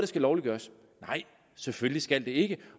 skal lovliggøres nej selvfølgelig skal det ikke det